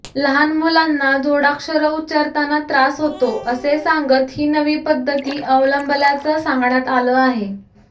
लहानमुलांना जोडाक्षरं उच्चारताना त्रास होतो असे सांगत ही नवी पद्धती अवलंबल्याचं सांगण्यात आलं आहे